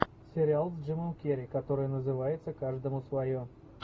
сериал с джимом керри который называется каждому свое